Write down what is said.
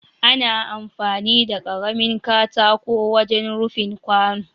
Ana amfani da karamin katako wajen rufin kwano